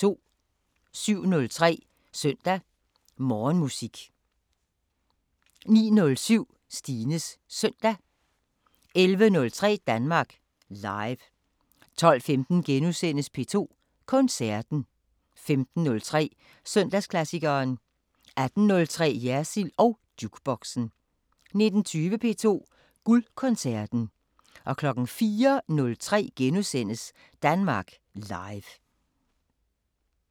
07:03: Søndag Morgenmusik 09:07: Stines Søndag 11:03: Danmark Live 12:15: P2 Koncerten * 15:03: Søndagsklassikeren 18:03: Jersild & Jukeboxen 19:20: P2 Guldkoncerten 04:03: Danmark Live *